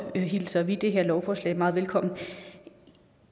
hilser vi det her lovforslag meget velkommen